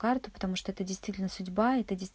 карту потому что это действительно судьба это действ